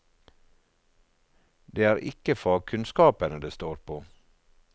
Det er ikke fagkunnskapene det står på.